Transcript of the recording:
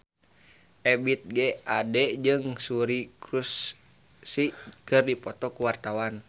Ebith G. Ade jeung Suri Cruise keur dipoto ku wartawan